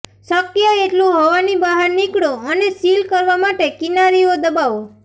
શક્ય એટલું હવાની બહાર નીકળો અને સીલ કરવા માટે કિનારીઓ દબાવો